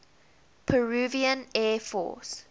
peruvian air force